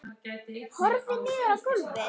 Horfir niður á gólfið.